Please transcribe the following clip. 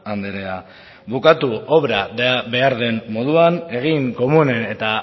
andrea bukatu obra behar den moduan egin komunen eta